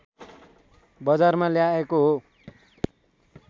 बजारमा ल्याएको हो